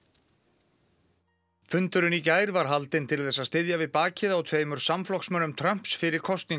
fundurinn í gær var haldinn til þess að styðja við bakið á tveimur samflokksmönnum Trumps fyrir kosningarnar í haust